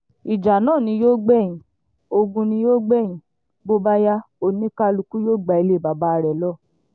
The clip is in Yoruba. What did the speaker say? ìjà náà ni yóò gbẹ̀yìn ogun ni yóò gbẹ́yìn bó bá yá oníkálukú yóò gba ilẹ̀ baba rẹ̀ lọ